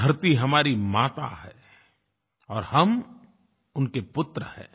धरती हमारी माता है और हम उनके पुत्र हैं